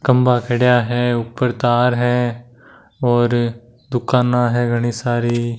खंभा खड़िया है ऊपर तार है और दुकाना है घनी सारी।